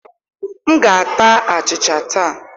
M ga-ata achịcha taa.